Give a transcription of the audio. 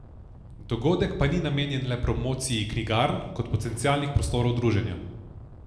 Dogodek pa ni namenjen le promociji knjigarn kot potencialnih prostorov druženja.